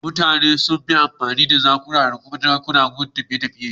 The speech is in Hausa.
Mutanen da sun fi amfani da jakuna da dawakai wurin tafiye-tafiye.